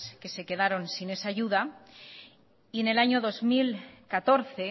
que se quedaron sin esa ayuda y en el año dos mil catorce